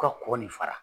U ka kɔkɔ nin fara